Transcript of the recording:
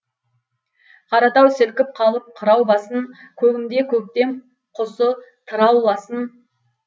қаратау сілкіп қалып қырау басын көгімде көктем құсы тырауласын